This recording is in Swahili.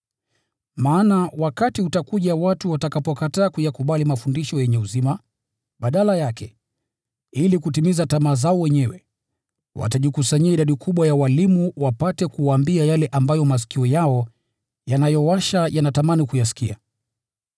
Maana wakati utakuja watu watakapokataa kuyakubali mafundisho yenye uzima. Badala yake, ili kutimiza tamaa zao wenyewe, watajikusanyia idadi kubwa ya walimu wapate kuwaambia yale ambayo masikio yao yanayowasha yanatamani kuyasikia.